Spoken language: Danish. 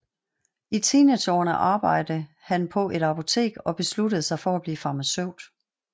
I teenageårene arbejde han på et apotek og besluttede sig for at blive farmaceut